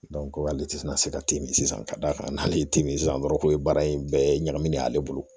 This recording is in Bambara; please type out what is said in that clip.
ale tɛ na se ka timi sisan ka d'a kan n'ale ye timinansan dɔrɔn k'o ye baara in bɛɛ ye ɲagaminɛ ye ale bolo